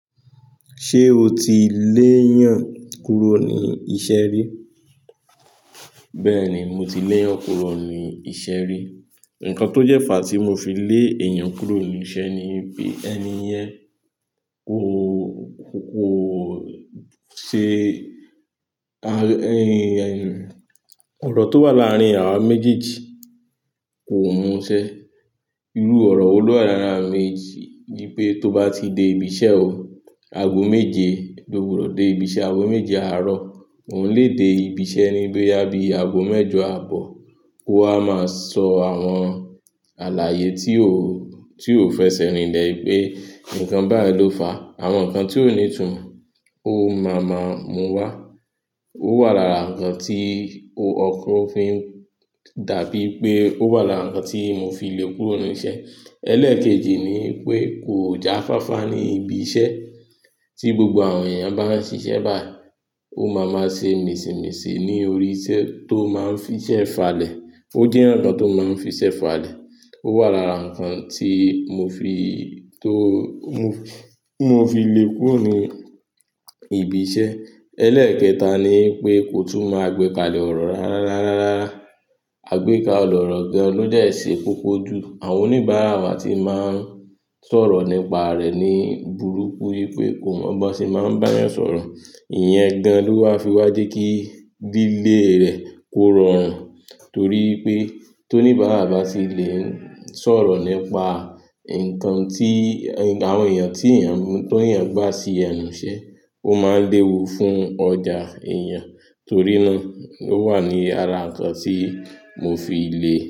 Ṣé o ti léyàn kúrò ní iṣẹ́ rí? Bẹ́ẹ̀ni, mo ti lèyàn kúrò ní iṣẹ́ rí. Ǹkan tó jẹ́ fàá tí mo fi lé èèyàn kúrò ní iṣẹ́ ni pé ẹni yẹn kò, kò ṣe ọ̀rọ̀ tó wà láàárín àwa méjèèjì kò mú ṣẹ. Irú ọ̀rọ̀ olú àràráàrà mi ni pé tó bá ti dé ibi iṣẹ́ o, ago méje ló wù ọ́ dé ibi iṣẹ́, ago méje àárọ̀ òun lè dé ibi iṣẹ́ níbí yá bí ago mẹ́jọ àbọ̀. Ó a máa sọ àwọn àlàyé tí ó, tí ó fẹsẹ̀ rinlẹ̀ pé nǹkan báyìí ló fà á. Àwọn nǹkan tí ó ní ìtùnú ó máa ma mu wá. Ó wà lára nǹkan tí ọkún fi ń dàbí pé, ó wà lára nnkan tí mo fi le kúrò ní iṣẹ́. Ẹlẹ́kejì ni pé kò jáfáfá ní ibi iṣẹ́. Tí gbogbo àwọn èèyàn bá ń ṣiṣẹ́ báyìí, ó máa ma ṣe mìsìnmìsí ní orí iṣẹ́ tó máa ń fiṣẹ́ falẹ̀. Ó jẹ́ ònà tó máa ń fiṣẹ́ falẹ̀. Ó wà lára nǹkan tí mo fi, tó, mo fi le kúrò ní ibi iṣẹ́. Ẹlẹ́kẹta ni pé kò tún mo àgbẹ́kalẹ̀ ọ̀rọ̀ rárá. Rárá, àgbékàlẹ̀ ọ̀rọ̀ gan-an lọ dẹ̀ ṣe kókó jù. Àwọn oníbàárà wa tí máa ń sọ̀rọ̀ nípa rẹ̀ ní burúkú wí pé kò mọ bó ṣe máa ń bá èèyàn sọ̀rọ̀. Ìyẹn gan-an ló wá fi wá jẹ́ kí lílé rẹ̀ kó rọrùn torí pé tó oníbàárà bá ti lè ń sọ̀rọ̀ nípa nnkan tí, àwọn èèyàn tí èèyàn, tí èèyàn gbá sí ẹnù iṣẹ́, ó máa ń léwu fún ọjà èèyàn. Torí náà ó wà ní ara nǹkan tí mo fi le.